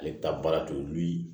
Ale bɛ taa baara t'olu ye